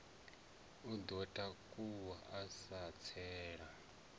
o ḓo takuwa a tsela